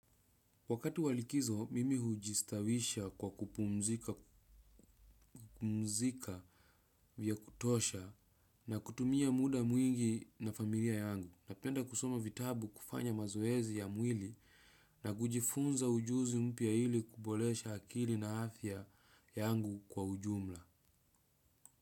Wakati wa likizo, mimi hujistawisha kwa kupumzika vya kutosha na kutumia muda mwingi na familia yangu. Napenda kusoma vitabu, kufanya mazoezi ya mwili na kujifunza ujuzi mpya ili kuboresha akili na afya yangu kwa ujumla.